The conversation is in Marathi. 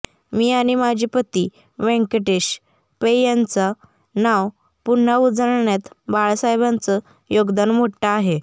मी आणि माझे पती व्यंकटेश पै यांचं नाव पुन्हा उजळण्यात बाळासाहेबांचं योगदान मोठं आहे